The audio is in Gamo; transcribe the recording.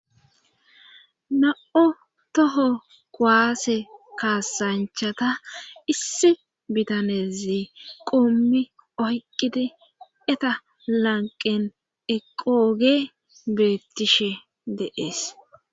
na7o toho kuwase kaasanchata issi bitanezi qoommi oyqqidi eta lanqen eqooge beettishe de7es